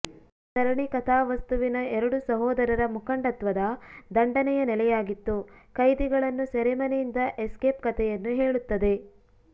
ಸರಣಿ ಕಥಾವಸ್ತುವಿನ ಎರಡು ಸಹೋದರರ ಮುಖಂಡತ್ವದ ದಂಡನೆಯ ನೆಲೆಯಾಗಿತ್ತು ಖೈದಿಗಳನ್ನು ಸೆರೆಮನೆಯಿಂದ ಎಸ್ಕೇಪ್ ಕಥೆಯನ್ನು ಹೇಳುತ್ತದೆ